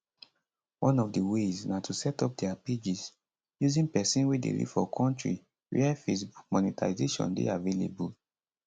one of di ways na to setup dia pages using pesin wey dey live for kontri wia facebook monetisation dey available